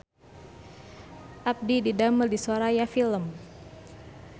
Abdi didamel di Soraya Film